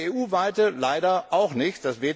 Eine EU weite leider auch nicht.